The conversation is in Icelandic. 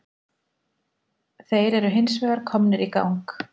Þeir eru hins vegar komnir í gang